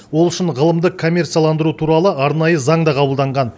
ол үшін ғылымды коммерцияландыру туралы арнайы заң да қабылданған